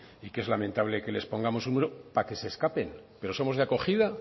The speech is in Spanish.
y que es lamentable que les pongamos un muro para que se escapen pero somos de acogida